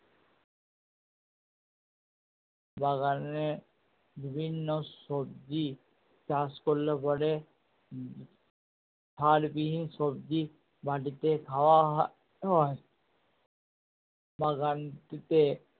বাগানে বিভিন্ন সবজি চাষ করলে পরে উম সার বিহীন সবজি বাড়িতে খাওয়া হয় বাগানটিতে